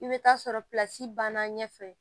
I bɛ taa sɔrɔ banna ɲɛ fɛ